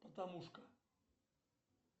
патамушка